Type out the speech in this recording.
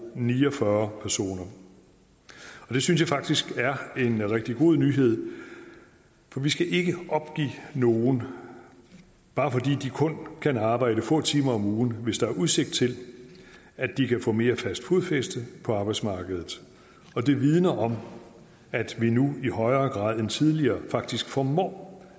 ni og fyrre personer det synes jeg faktisk er en rigtig god nyhed for vi skal ikke opgive nogen bare fordi de kun kan arbejde få timer om ugen hvis der er udsigt til at de kan få mere fast fodfæste på arbejdsmarkedet og det vidner om at vi nu i højere grad end tidligere faktisk formår